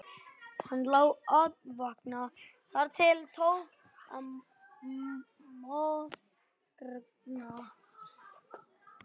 Hann lá andvaka þar til tók að morgna.